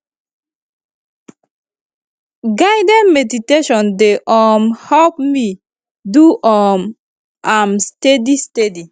guided meditation dey um help me do um am steady steady